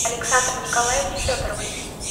александре николаевне федоровой